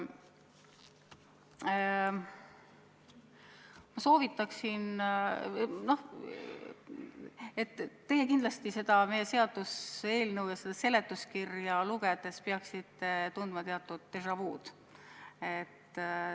Ma soovitan teile, et te peaksite seda meie seaduseelnõu ja selle seletuskirja lugedes kindlasti tundma teatud déjà vu'd.